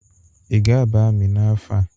Ị ga-aba amị n'afọ a?